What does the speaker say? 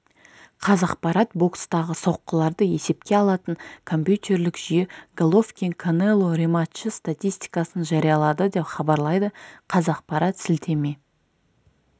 қазақпарат бокстағы соққыларды есепке алатын компьютерлік жүйе головкин канело рематчы статистикасын жариялады деп хабарлайды қазақпарат сілтеме